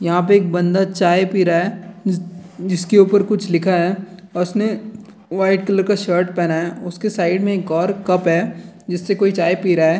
यहाँ पे एक बंदा चाय पी रहा है जि जिसके ऊपर कुछ लिखा है और उसने वाइट कलर का शर्ट पहना है और इसके साइड में एक और कप है जिससे कोई चाय पी रहा है।